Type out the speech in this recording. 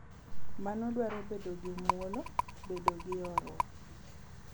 Mano dwaro bedo gi mwolo, bedo gi horuok, .